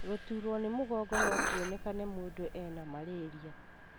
Gũturwo nĩ mũgongo no kwonekane mũndũ ena malaria.